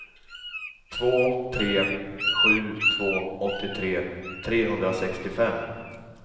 två tre sju två åttiotre trehundrasextiofem